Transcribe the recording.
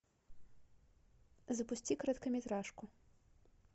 запусти короткометражку